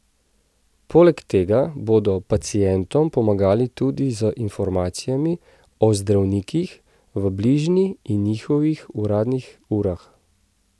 Poleg tega bodo pacientom pomagali tudi z informacijami o zdravnikih v bližini in njihovih uradnih urah.